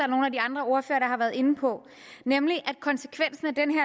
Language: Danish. andre ordførere har været inde på nemlig at konsekvensen af denne